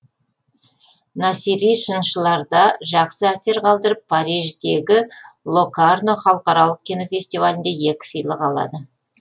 насери сыншыларда жақсы әсер қалдырып париждегі локарно халықаралық кинофестивалінде екі сыйлық алады